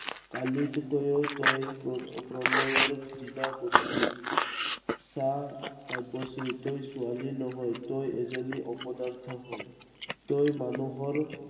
কৈও তই প্ৰ~প্ৰণয়ক ঘৃণা কৰিছিল। চা, কাব্যশ্ৰী তই ছোৱালী নহয়। তই এজনী অপদাৰ্থ হয়। তই মানুহৰ